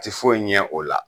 Ti foye ɲɛ o la